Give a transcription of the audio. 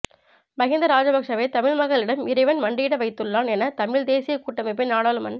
மஹிந்த ராஜபக்ஷவை தமிழ் மக்களிடம் இறைவன் மண்டியிட வைத்துள்ளான் என தமிழ் தேசிய கூட்டமைப்பின் நாடாளுமன்